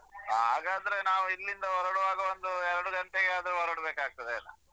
ಹಾಗಾದ್ರೆ ನಾವು ಇಲ್ಲಿಂದ ಹೊರಡುವಾಗ ಒಂದು ಎರಡು ಗಂಟೆಗಾದ್ರು ಹೊರಡ್ಬೇಕಾಗ್ತದೆ ಏನ.